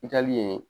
I taali yen